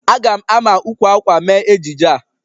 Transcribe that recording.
A ga-ama ukwu akwa mee ejije a.